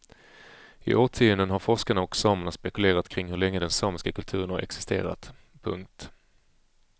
I årtionden har forskarna och samerna spekulerat kring hur länge den samiska kulturen har existerat. punkt